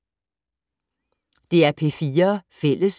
DR P4 Fælles